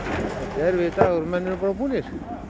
erfiðir dagar og menn eru bara búnir